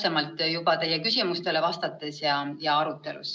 Aga nüüd siis vastan teie küsimustele.